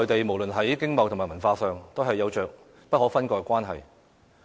無論在經貿和文化上，香港與內地都有着不可分割的關係。